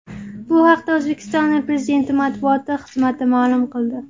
Bu haqda O‘zbekiston Prezidenti matbuoti xizmati ma’lum qildi .